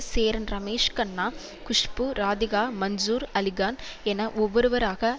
சேரன் ரமேஷ் கண்ணா குஷ்பு ராதிகா மன்சூர் அலிகான் என ஒவ்வொருவராக